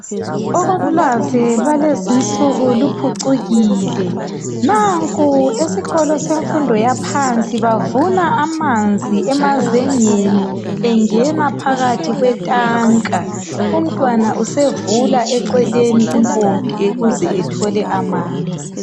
Ulwazi lwalezi insuku luphucukile. Nanku esikolo semfundo yaphansi bavula amanzi emazengeni engena phakathi kwetanka , umntwana usevula eceleni impompi ukuze ethole amanzi.